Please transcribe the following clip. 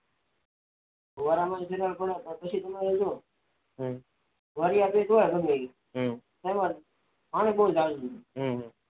ફુવારા માં નથી નાવુ પડતું પછી તમારે જો જરૂરિયાત નઈ હમમ હમમ